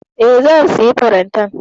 E, zan sayi farantan.